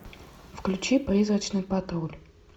включи призрачный патруль